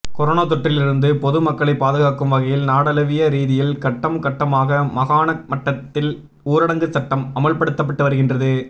corona தொற்றிலிருந்துபொது மக்களை பாதுகாக்கும் வகையில் நாடளாவிய ரீதியில் கட்டம் கட்டமாக மாகாண மட்டத்தில் ஊரங்கு சட்டம் அமுல்படுத்தப்பட்டு வருகின்றது